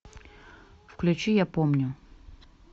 включи я помню